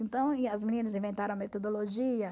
Então, e as meninas inventaram a metodologia.